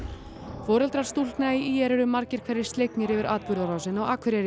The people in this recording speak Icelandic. foreldrar stúlkna í ÍR eru margir hverjir slegnir yfir atburðarásinni á Akureyri